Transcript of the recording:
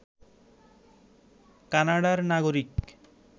কানাডার নাগরিক